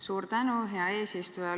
Suur tänu, hea eesistuja!